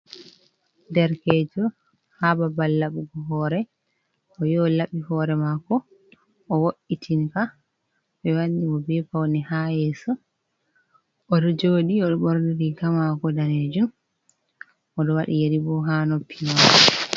Derkejo ha ɓabal laɓugo hore, o yahi laɓi hore mako o wo’itin ka ɓe wanni mo be paune ha yeso, odo joɗi o borni riga mako danejum, oɗo waɗi yeri bo ha noppi mako.